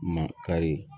Makari